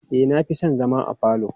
E, na fi son zama a falo.